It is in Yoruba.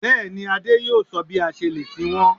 Bẹ́ẹ̀ni, Adé yóò sọ bí a ṣe lè sin wọ́n